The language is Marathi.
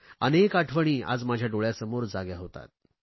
अनेक आठवणी आज माझ्या डोळयांसमोर जाग्या होतात